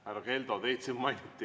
Härra Keldo, teid siin mainiti.